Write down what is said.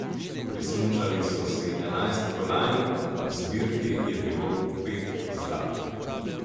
Prismučali so si enajst kolajn, v zbirki je bilo pet zlatih.